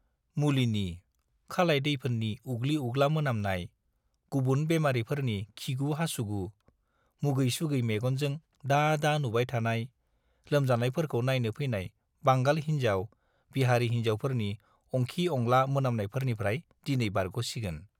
मुलिनि, खालाय-दैफोननि उग्लि-उग्ला मोनामनाय, गुबुन बेमारिफोरनि खिगु-हासुगु, मुगै-सुगै मेगनजों दा दा नुबाय थानाय, लोमजानायफोरखौ नायनो फैनाय बांगाल हिन्जाव, बिहारि हिन्जावफोरनि अंखि-अंला मोनामनायफोरनिफ्राय दिनै बारग'सिगोन।